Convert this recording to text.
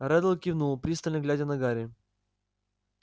реддл кивнул пристально глядя на гарри